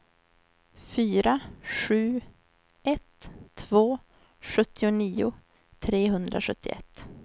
fyra sju ett två sjuttionio trehundrasjuttioett